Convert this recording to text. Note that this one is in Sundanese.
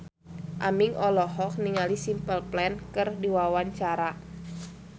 Aming olohok ningali Simple Plan keur diwawancara